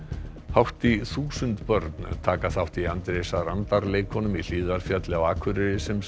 hátt í þúsund börn taka þátt í Andrésar andar leikunum í Hlíðarfjalli á Akureyri sem